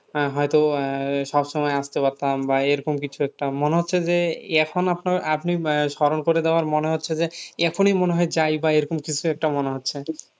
আহ হয়তো আহ সব সময় আসতে পারতাম বা এরকম কিছু একটা মনে হচ্ছে যে এখন আপনার আপনি আহ স্মরণ করে দেওয়াই মনে হচ্ছে যে এখনই মনে হয় যায় বা এরকম কিছু একটা মনে হচ্ছে